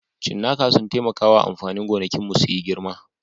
Cinnaka sun taimaka wa amfanin gonakinmu su yi girma